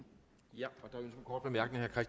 jeg